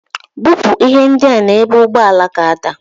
Bupu ihe ndia n'ebu ugboelu ga-ada.